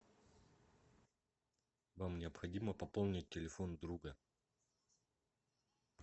вам необходимо пополнить телефон друга